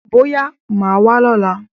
Bọ́yá máà wá lọ́la.